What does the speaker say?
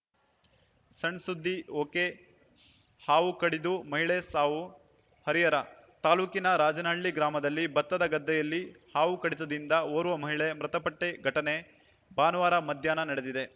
ಸಣ್‌ಸುದ್ದಿ ಒಕೆಹಾವು ಕಡಿದು ಮಹಿಳೆ ಸಾವು ಹರಿಹರ ತಾಲೂಕಿನ ರಾಜನಹಳ್ಳಿ ಗ್ರಾಮದಲ್ಲಿ ಭತ್ತದ ಗದ್ದೆಯಲ್ಲಿ ಹಾವು ಕಡಿತದಿಂದ ಓರ್ವ ಮಹಿಳೆ ಮೃತಪಟ್ಟಘಟನೆ ಭಾನುವಾರ ಮಧ್ಯಾಹ್ನ ನಡೆದಿದೆ